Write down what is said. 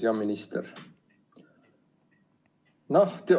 Hea minister!